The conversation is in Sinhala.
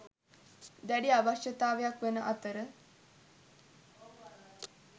දැඩි අවශ්‍යතාවයක් වන අතර